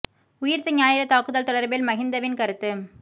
உயிர்த்த ஞாயிறு தாக்குதல் தொடர்பில் மகிந்ந்தவின் கருத்து